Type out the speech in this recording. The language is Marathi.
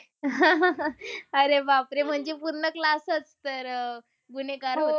अरे बापरे म्हणजे पूर्ण class च तर अह गुन्हेगार